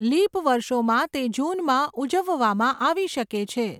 Leap વર્ષોમાં તે જૂનમાં ઉજવવામાં આવી શકે છે.